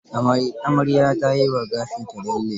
Amaryar ta yi wa gashinta lalle.